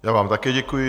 Já vám také děkuji.